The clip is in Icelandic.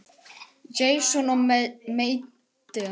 Jason og Medea.